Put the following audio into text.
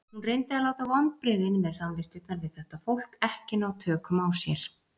Hún reyndi að láta vonbrigðin með samvistirnar við þetta fólk ekki ná tökum á sér.